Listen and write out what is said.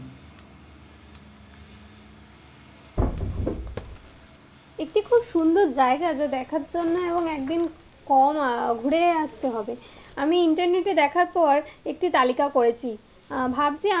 এত সুন্দর জায়গা যে দেখার জন্য এবং একদিন, কম আহ ঘুরে আসতে হবে। আমি ইন্টারনেটে দেখার পর একটি তালিকা করেছি আহ ভাবছি,